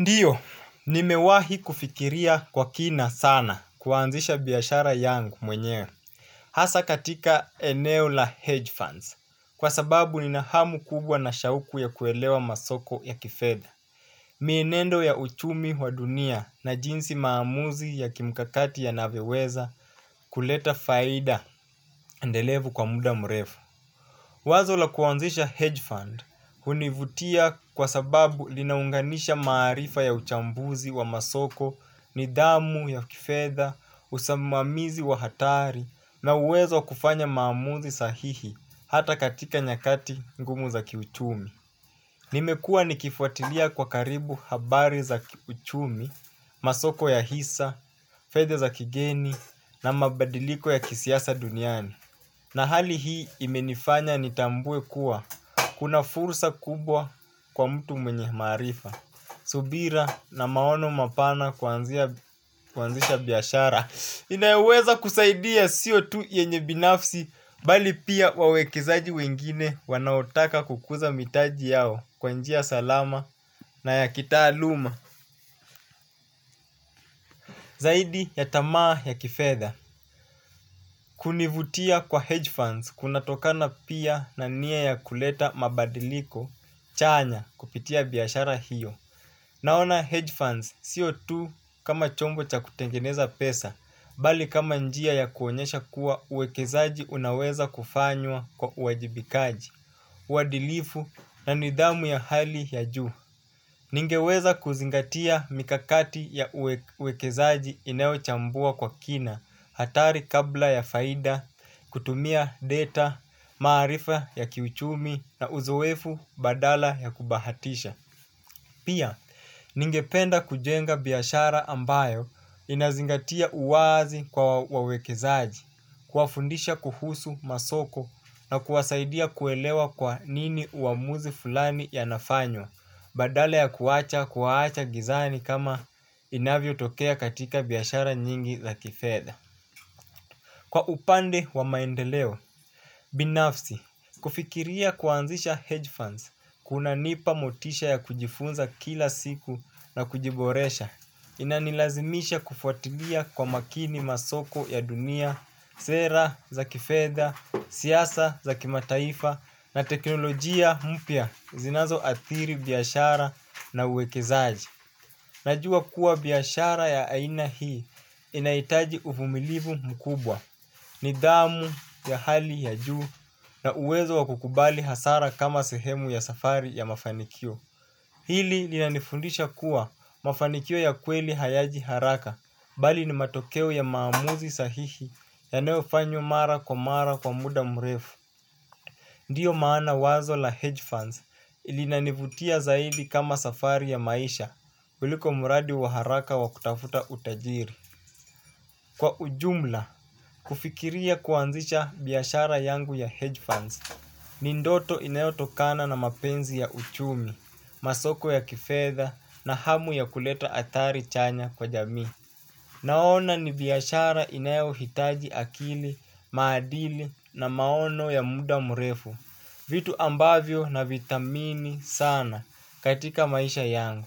Ndiyo, nimewahi kufikiria kwa kina sana kuanzisha biashara yangu mwenye. Hasa katika eneo la hedge funds. Kwa sababu ni na hamu kubwa na shauku ya kuelewa masoko ya kifedha. Mienendo ya uchumi wa dunia na jinsi maamuzi ya kimkakati ya navyoweza kuleta faida endelevu kwa muda mrefu. Wazo la kuanzisha hedge fund hunivutia kwa sababu linaunganisha maarifa ya uchambuzi wa masoko ni dhamu ya kifedha, usamamizi wa hatari na uwezo kufanya maamuzi sahihi hata katika nyakati ngumu za kiuchumi. Nimekuwa nikifuatilia kwa karibu habari za kiuchumi, masoko ya hisa, fedha za kigeni na mabadiliko ya kisiasa duniani. Na hali hii imenifanya nitambue kuwa, kuna fursa kubwa kwa mtu mwenye maarifa, subira na maono mapana kuanzisha biashara. Inayoweza kusaidia sio tu yenye binafsi, bali pia wawekezaji wengine wanaotaka kukuza mitaji yao kwa njia salama na ya kitaa luma. Zaidi ya tamaa ya kifedha, kunivutia kwa hedge funds kunatokana pia na nia ya kuleta mabadiliko chanya kupitia biashara hiyo. Naona hedge funds siotu kama chombo cha kutengeneza pesa, bali kama njia ya kuonyesha kuwa uwekezaji unaweza kufanywa kwa uajibikaji, uadilifu na nidhamu ya hali ya juu. Ningeweza kuzingatia mikakati ya uwekezaji inayochambua kwa kina hatari kabla ya faida kutumia data maarifa ya kiuchumi na uzoefu badala ya kubahatisha pia ningependa kujenga biashara ambayo inazingatia uwaazi kwa wawekezaji kuwafundisha kuhusu masoko na kuwasaidia kuelewa kwa nini uamuzi fulani yanafanywa badala ya kuacha kuwaacha gizani kama inavyotokea katika biashara nyingi za kifedha. Kwa upande wa maendeleo, binafsi kufikiria kuanzisha hedge funds kunanipa motisha ya kujifunza kila siku na kujiboresha inanilazimisha kufuatilia kwa makini masoko ya dunia sera za kifedha, siasa za kimataifa na teknolojia mpia zinazo adhiri biashara na uwekezaji. Najua kuwa biashara ya aina hii inaitaji uvumilivu mkubwa. Nidhamu ya hali ya juu na uwezo wa kukubali hasara kama sehemu ya safari ya mafanikio. Hili linanifundisha kuwa mafanikio ya kweli hayaji haraka. Bali ni matokeo ya maamuzi sahihi ya nayofanywa mara kwa mara kwa muda mrefu. Ndiyo maana wazo la hedge funds ili nanivutia zaidi kama safari ya maisha kuliko muradi waharaka wakutafuta utajiri. Kwa ujumla, kufikiria kuanzisha biashara yangu ya hedge funds. Nindoto inayo tokana na mapenzi ya uchumi, masoko ya kifedha na hamu ya kuleta adhari chanya kwa jamii. Naona ni biashara inayo hitaji akili, maadili na maono ya muda murefu. Vitu ambavyo na vidhamini sana katika maisha yangu.